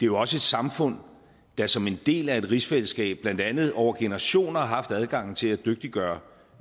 jo også et samfund der som en del af et rigsfællesskab blandt andet over generationer har haft adgangen til at dygtiggøre